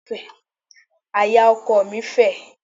Àyà ọkọọ̀ mi fẹ̀.